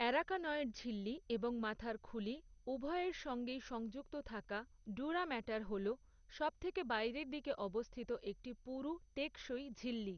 Arachnoid ঝিল্লি এবং মাথার খুলি উভয়ের সঙ্গেই সংযুক্ত থাকা, ডুরা ম্যাটার হলো, সবথেকে বাইরের দিকে অবস্থিত একটি পুরু টেকসই ঝিল্লি।